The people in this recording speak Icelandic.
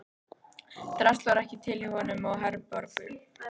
Drasl var ekki til hjá honum og Herborgu.